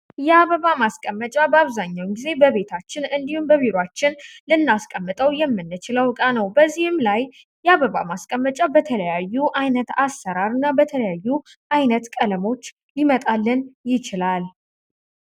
የአበባ ማስቀመጫ ብዙዉን ጊዜ በቤታችን ወይም በቢሮአችን ልናስቀምጥ የምንችለው እቃ ነው። በዚህም ላይ የአበባ ማስቀመጫ በተለያዩ አይነት አሰራር እና በተለያዩ አይነት ቀለሞች ሊመጣልን ይችላል።